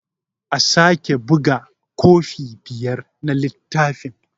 A sake buga kofi biyar na littafin.